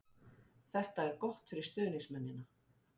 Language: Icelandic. Þetta er gott fyrir stuðningsmennina.